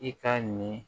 I ka nin